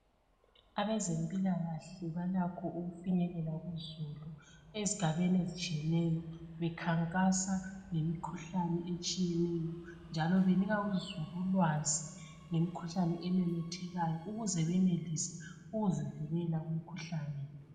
Abezempilakahle balakho ukufinyelela kuzulu ezigabeni ezitshiyeneyo bekhankasa ngemikhuhlane etshiyeneyo njalo benika uzulu ulwazi ngemikhuhlane ememethekayo ukuze benelise ukuzivikela kumkhuhlane.